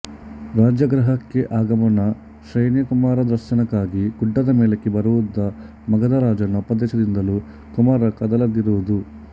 ರಾಜಗೃಹಕ್ಕೆ ಆಗಮನ ಶ್ರೇಣ್ಯಕುಮಾರದರ್ಶನಕ್ಕಾಗಿ ಗುಡ್ಡದ ಮೇಲಕ್ಕೆ ಬರುವುದುಮಗಧ ರಾಜನ ಉಪದೇಶದಿಂದಲೂ ಕುಮಾರ ಕದಲದಿರುವುದು